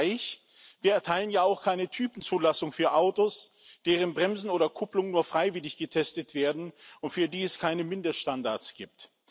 Ein Vergleich Wir erteilen ja auch keine Typenzulassung für Autos, deren Bremsen oder Kupplungen nur freiwillig getestet werden und für die es keine Mindeststandards gibt.